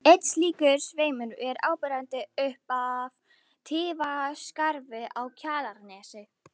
Einn slíkur sveimur er áberandi upp af Tíðaskarði á Kjalarnesi.